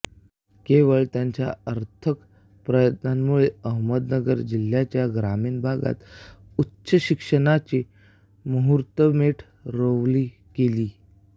केवळ त्यांच्या अथक प्रयत्नांमुळे अहमदनगर जिल्ह्याच्या ग्रामीण भागात उच्चशिक्षणाची मुहूर्तमेढ रोवली गेली